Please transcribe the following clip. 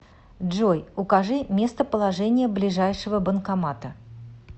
джой укажи местоположение ближайшего банкомата